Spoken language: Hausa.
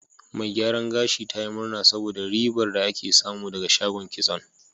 Mai gyaran gashin ta yi murna saboda ribar da ake samu ɗaga shagon kitson.